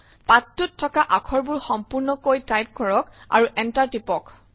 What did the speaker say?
পাঠটোত থকা আখৰবোৰ সম্পূৰ্ণ কৈ টাইপ কৰক আৰু Enter টিপক